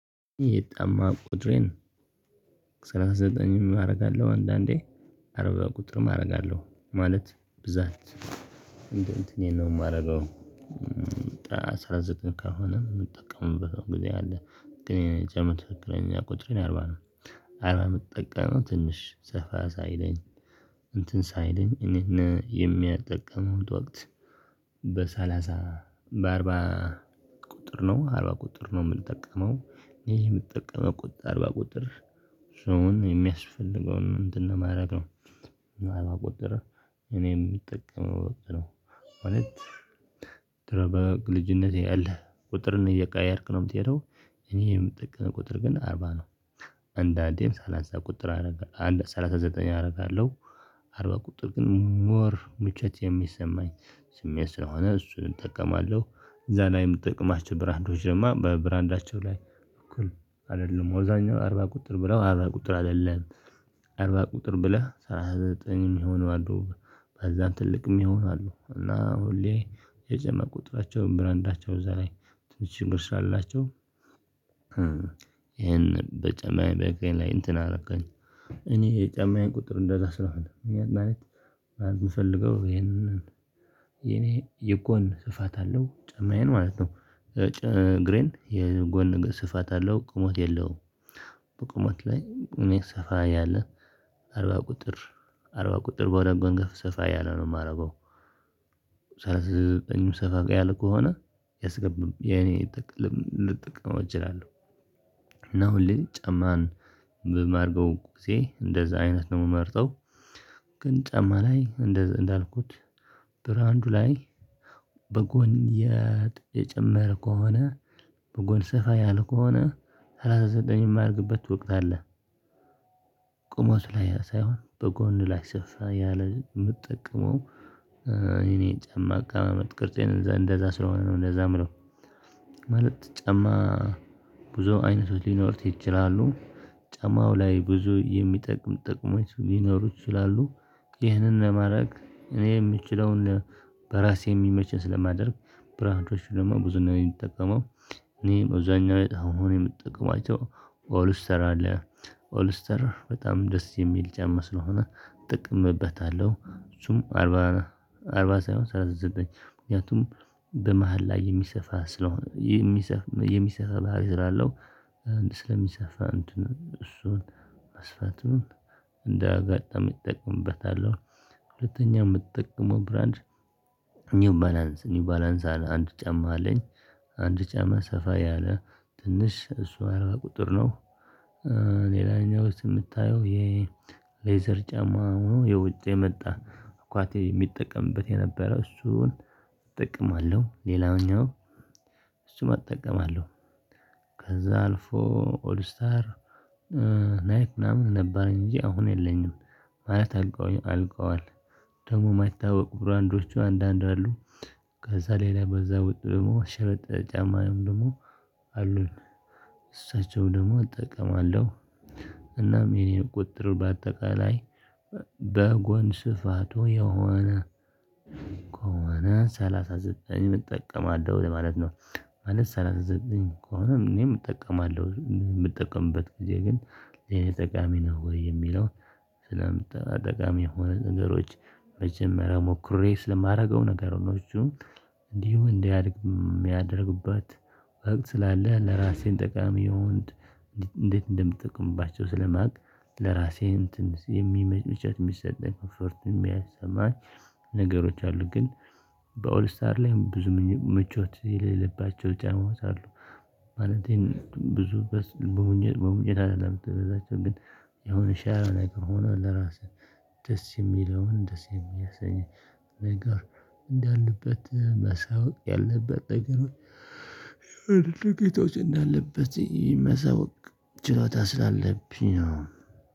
ይሄ ጫማ ቁጥሬን ሰላሳ ዘጠኝም አደርጋለሁ አንዳንዴ አርባ ቁጥርም አደርጋለሁ ማለት ብዛት እንደ እንትኔ ነው የማደርገው። አስራ ዘጠኝ ከሆነ የምጠቀምበት ጊዜ አለ ግን የጫማ ትክክለኛ ቁጥሬ አርባ ነው። አርባ የምጠቀመው ትንሽ ሰፋ ሳይለኝ እንትን ሳይለኝ እኔና የሚያጠቀመው ወቅት በሰላሳ በአርባ ቁጥር ነው አርባ ቁጥር ነው የምጠቀመው። ይሄ የምጠቀመው ቁጥር አርባ ቁጥር ሰውን የሚያስፈልገውን እንትን ለማድረግ ነው። አርባ ቁጥር እኔም የምጠቀመው ቁጥር ነው። እውነት ትረበግ ልጅነቴ አለ ቁጥርን እየቀየርክ ነው የምትሄደው እኔም የምጠቀመው ቁጥር ግን አርባ ነው። አንዳንዴም ሳላሳ አዛ ቁጥር አደርጋለሁ አንድ ሰላሳ ዘጠኝ አደርጋለሁ አርባ ቁጥር ግን ሞር ምቾት የሚሰማኝ ስሜት ስለሆነ እሱን እጠቀማለሁ። እዛ ላይም ጥቅማችን ብራንዶች ደግሞ በብራንዳቸው ላይ እኩል አይደለም አብዛኛው አርባ ቁጥር ብለው አርባ ቁጥር አይደለም አርባ ቁጥር ብለህ ሰላሳ ዘጠኝ የሚሆኑ አሉ። በዛን ትልቅም ይሆናሉ እና ሁሌ የጫ ቁጥራቸውን ብራንዳቸው እዛ ላይ ትንሽ ችግር ስላላቸው ይሄን በጨማይ በገን ላይ እንትን አደረገኝ። እኔ የጫማዬን ቁጥር እንደራስ ነው አይደለም እኔ አንድ ማለት ማለትምፈልገው ይሄንን የኔ የጎን ስፋት አለው ጨማዬን ማለት ነው። እግሬን የጎን ስፋት አለው ቁሞት የለውም። በቁሞት ላይ እኔ ሰፋ ያለ አርባ ቁጥር አርባ ቁጥር በሆነ ገንገፍ ሰፋ ያለው ነው የማረገው። ሰላሳ ዘጠኙ ሰፋ ያለ ከሆነ ያስገብም የኔ ልጠቅም እችላለሁ እና ሁሌ ጫማን ብማርገው ጊዜ እንደዛ አይነት ነው የምመርጠው። ግን ጫማ ላይ እንዳልኩት ብራንዱ ላይ በጎን የጨመረ ከሆነ በጎን ሰፋ ያል ከሆነ ሰላሳ ዘጠኝ የማደርግበት ወቅት አለ ቆሞ ስላየ ሳይሆን በጎን ላይ ሰፍ ያለ ግን የምጠቀመው። የኔ ጫማ አቀማመጥ ቅርጼ እንደዛ ስለሆነ ነው እንደዛ የምለው። ማለት ጫማ ብዙ አይነቶች ሊኖሩት ይችላሉ። ጫማው ላይ ብዙ የሚጠቅም ጠቅሞች ሊኖሩ ይችላሉ። ይህንን ለማድረግ እኔ የምችለውን በራሴ የሚመችን ስለማደርግ ብራንዶች ደግሞ ብዙ ነው የምትጠቀመው እኔ በዛኛው አሁን የምጠቀማቸው አለ ኦልስተር በጣም ደስ የሚል ጫማ ስለሆነ ጥቅምበታለሁ። እሱም አርባ አርባ ሳይሆን ሰላሳ ዘጠኝ ምክንያቱም በመሃል ላይ የሚሰፋ ስለሆነ የሚሰፍ የሚሰፋ ባህሪ ስላለው ስለሚሰፋ እንትን እሱን መስፋቱን እንደ ጋጣሚ እጠቀምበታለው። ሁለተኛ የምትጠቀመው ብራንድ ኒው ባላንስ ኒው ባላንስ አንድ ጫማ አለኝ አንድ ጫማ ሰፋ ያለ ትንሽ እሱን አርባ ቁጥር ነው። ሌላኛው የምታየው የሌዘር ጫማ ሆኖ የውጭ የመጣ እንኳን የሚጠቀምበት የነበረው እሱን እጠቀማለሁ ሌላኛው እሱም እጠቀማለሁ። ከዛ አልፎ ኦል ስታር ናይክ ምናምን ነበረኝ እንጂ አሁን የለኝም ማለት አልቀውም አልቀዋል ደግሞ የማታውቅ ብራንዶቹ አንዳንድ አሉ። ከዛ ሌላ በዛ ወጥ ደግሞ ሽረጥ ጫማዬም ደግሞ አሉኝ እሳቸው ደግሞ እጠቀማለሁ። እናም የኔን ቁጥር በአጠቃላይ በጎን ስፋቱ የሆነ የሆነ ሰላሳ ዘጠኝ እጠቀማለሁ ለማለት ነው። ማለት ሰላሳ ዘጠኝ ከሆነም እኔም እጠቀማለሁ እኔም የምጠቀምበት ጊዜ ግን የኔ ጠቃሚ ነው ወይ የሚለውን? ስለምትጠቀም የሆኑ ንገሮች መጀመሪያ ሞክሬ ስለማደርገው ነገሮቹ እንዲሁ እንዲያድግ የሚያደርግባት ወቅት ስላለ ለራሴን ጠቃሚ እንዴት እንደምትጠቀምባቸው ስለማውቅ ለራሴ እንትን የሚመጭብጨት የሚሰጠኝ ኮንፈርት የሚያስማኝ ነገሮች አሉ ግን በኦልስታር ላይ ብዙ ምቾት የሌለባቸው ጫማዎች አሉ። ማለቴን ብዙ በሙኝ በሙኝ አይደለም የምትበዛቸው ግን የሆነ ሻይ ላይክ ሆኖ ለራስህ ደስ የሚለውን ደስ የሚያሰኘኝ ነገር እንዳለበት መሳወቅ ያለበት ነገሮች ጌታዎች እንዳለበት መሳወቅ ስላለብኝ ነው